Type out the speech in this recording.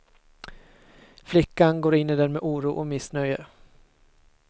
Flickan går in i den med oro och missnöje.